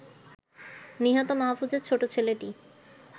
নিহত মাহফুজের ছোট ছেলেটি